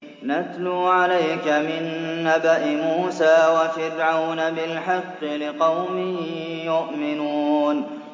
نَتْلُو عَلَيْكَ مِن نَّبَإِ مُوسَىٰ وَفِرْعَوْنَ بِالْحَقِّ لِقَوْمٍ يُؤْمِنُونَ